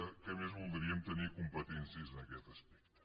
què més voldríem tenir competències en aquest aspecte